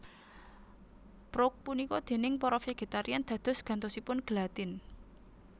Prouk punika déning para vegetarian dados gantosipun gelatin